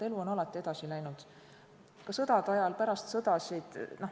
Elu on alati edasi läinud, ka sõdade ajal ja pärast sõda.